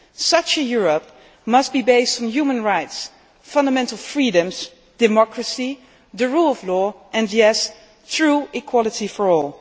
in. Such a Europe must be based on human rights, fundamental freedoms, democracy, the rule of law and, yes, true equality